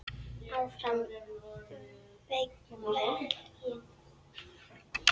ÁFRAM VEGINN.